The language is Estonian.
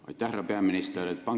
Aitäh, härra peaminister!